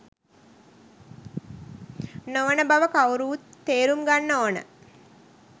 නොවන බව කවුරුත් තේරුම් ගන්න ඕන.